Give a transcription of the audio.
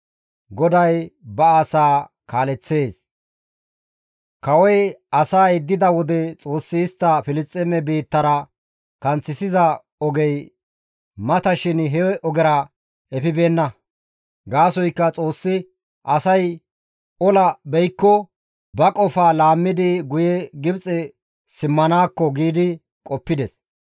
Kawoy asaa yeddida wode Xoossi istta Filisxeeme biittara kanththisiza ogey mata shin he ogezara efibeenna; gaasoykka Xoossi, «Asay ola beykko ba qofaa laammidi guye Gibxe simmanaakko» giidi qoppides.